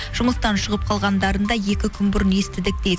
жұмыстан шығып қалғандарын да екі күн бұрын естідік дейді